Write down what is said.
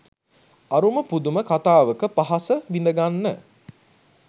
අරුම පුදුම කතාවක පහස විදගන්න